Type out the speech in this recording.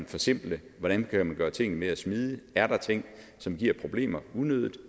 forsimple hvordan man kan gøre tingene mere smidige er der ting som giver problemer unødigt